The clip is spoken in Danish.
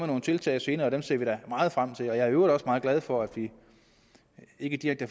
nogle tiltag senere og dem ser vi da meget frem til jeg er i øvrigt også meget glad for at vi ikke direkte